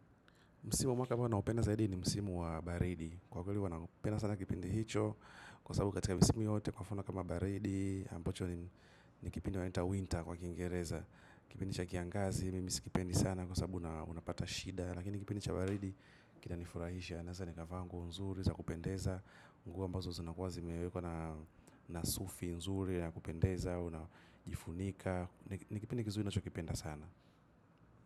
Mwaka ambao naupenda zaidi ni msimu wa baridi. Kwa hivo naupenda sana kipindi hicho. Kwa sababu katika msimu yote kwa mfano kama baridi, ambacho ni kipindi inaitwa winter kwa kingereza. Kipindi cha kiangazi. Mimi sikipendi sana kwa sababu unapata shida. Lakini kipindi cha baridi kita nifurahisha. Naweza nikavaa nguo nzuri za kupendeza. Nguo ambazo zinakuwa zimewekwa na na sufi nzuri ya kupendeza. Au unajifunika. Ni kipindi kizuri ninachokipenda sana.